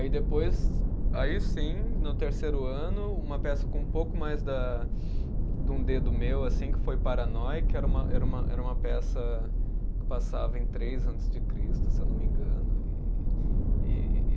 Aí depois, aí sim, no terceiro ano, uma peça com um pouco mais da de um dedo meu assim, que foi Paranoi, que era uma, era uma, era uma peça que passava em três antes de Cristo, se eu não me engano. E, e